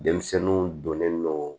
Denmisɛnninw donnen don